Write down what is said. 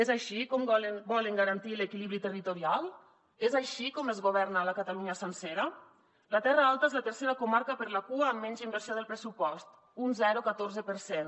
és així com volen garantir l’equilibri territorial és així com es governa la catalunya sencera la terra alta és la tercera comarca per la cua amb menys inversió del pressupost un zero coma catorze per cent